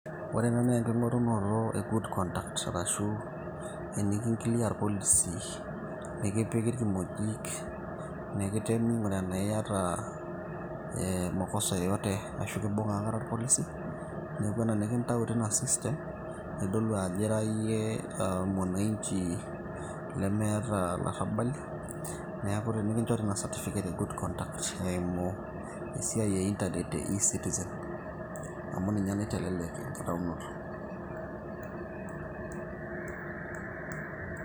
Ore ena naa enking'orunoto e good conduct eniki clear irpolisi nikipiki irkimojik, nikitemi aing'uraa enaa iata ee makosa yeyoto arashu kimbung'a akata irpolisi neeku ena nikintau tina system eitodolu ajo ira iyie mwananchi lemeeta ilarrabali neeku nikinchori ina certificate of good conduct. Eimu esiai e internet e eCitizen amu ninye naitelelek enkitaunoto.